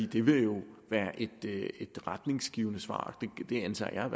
det vil jo være et retningsgivende svar det antager